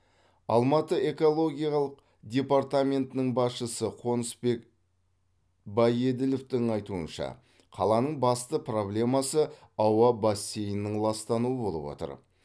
алматы экологиялық департаментінің басшысы қонысбек байеділовтің айтуынша қаланың басты проблемасы ауа бассейнінің ластануы болып отыр